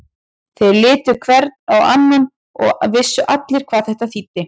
Þeir litu hver á annan og vissu allir hvað þetta þýddi.